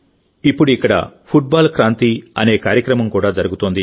ఇప్పుడు ఇక్కడ ఫుట్బాల్ క్రాంతి అనే కార్యక్రమం కూడా జరుగుతోంది